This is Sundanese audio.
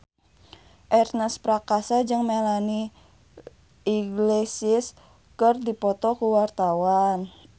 Ernest Prakasa jeung Melanie Iglesias keur dipoto ku wartawan